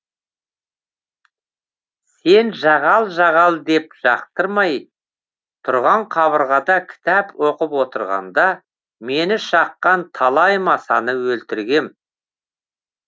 сен жағал жағал деп жақтырмай тұрған қабырғада кітап оқып отырғанда мені шаққан талай масаны өлтіргем